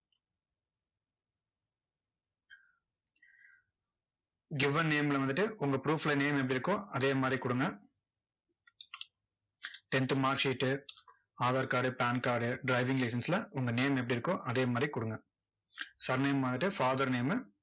given name ல வந்துட்டு, உங்க proof ல name எப்படி இருக்கோ, அதே மாதிரி கொடுங்க. tenth mark sheet aadhar card pan card driving license ல உங்க name எப்படி இருக்கோ, அதே மாதிரி கொடுங்க surname வந்துட்டு father name உ